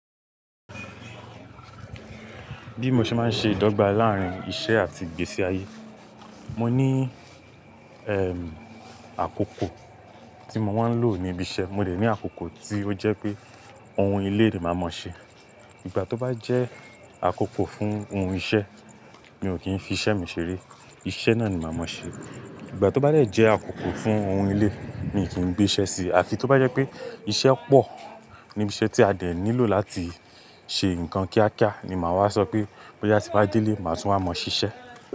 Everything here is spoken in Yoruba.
Bí mo ṣe má ń ṣe ìdọ́gba láarin iṣẹ́ àti ìgbésí ayé, mo ní erm àkókò tí mo máa ń lò ní ibi iṣẹ́ mo dẹ̀ ní àkókò tí ó jẹ́ pé òun ilé ni màá mọ ṣe. Ìgbà tó bá jẹ́ àkókò fún ohun iṣẹ́, mi ò kí n fi iṣẹ́ mi ṣeré, iṣẹ́ náà ni màá mọ ṣe. Ìgbà tó bá dẹ̀ jẹ́ àkókò fún òun ilé, mi ò kí gbé iṣẹ́ sí, àfi tó bá jẹ́ pé iṣẹ́ pọ̀ níbi iṣẹ́ tí a dẹ̀ nílò láti ṣe nǹkan kíákíá ni màá wá sọ pé bóyá tí bá délé, màá tún wá mọ ṣíṣe.